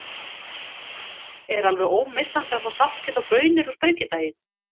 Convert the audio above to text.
Er alveg ómissandi að fá saltkjöt og baunir á Sprengidaginn?